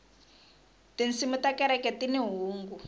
tinsimu ta kereke tini hungu